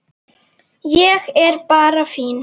Ég er bara fínn!